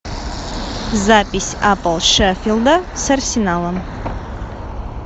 запись апл шеффилда с арсеналом